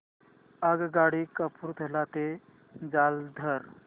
आगगाडी कपूरथला ते जालंधर